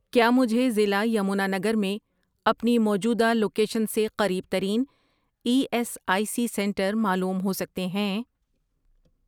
کیا مجھے ضلع یمنا نگر میں اپنی موجودہ لوکیشن سے قریب ترین E S I C centres معلوم ہو سکتے ہیں؟